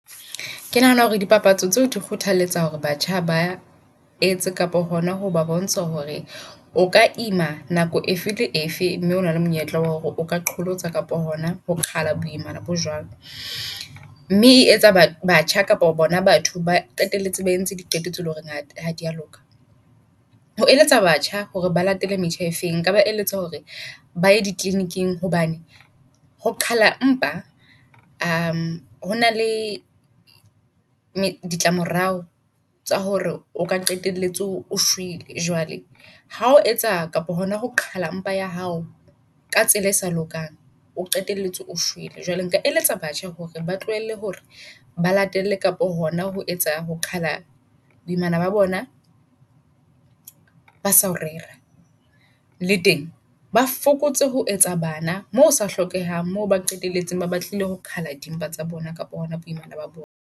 Ke nahana hore di papatso tseo di kgothaletsa hore batjha ba etse kapa hona ho ba bontsha hore o ka ima nako e fele efe mme o na le monyetla wa hore o ka qholotsa kapo hona ho qhala boimana bo jwalo. Mme e etsa ba batjha kapa bona batho ba qetelletse ba entse diqeto tse leng hore ha ha dia loka. Ho eletsa batjha hore ba latele metjha efeng nka ba eletsa hore baye di kliniking hobane ho qhala mpa hona le ditlamorao tsa hore o ka qetelletse o shwele. Jwale ha o etsa kapa hona ho qhala empa ya hao ka tsela e sa lokang, o qetelletse o shwele. Jwale nka eletsa batjha hore ba tlohelle hore ba latelle kapo hona ho etsa ho qala boimana ba bona ba sao rera. Le teng ba fokotse ho etsa bana moo o sa hlokehang. Mo ba qetelletse ba batlile ho qhala dimpa tsa bona kapa hona boimana ba bona.